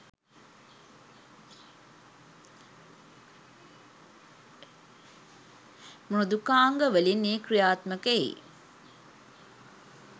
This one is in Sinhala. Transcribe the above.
මෘදුකාංග වලින් එය ක්‍රියාත්මක එයි.